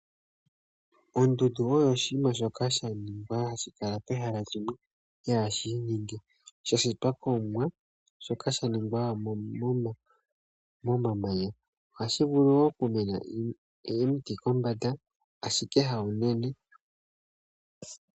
Ondundu oyo oshinima shoka sha ningwa hashi kala pehala limwe, pehala sha shitwa kOmuwa shoka sha ningwa momamanya, ohashi vulu wo oku mena omiti kombanda ashike hawu nene.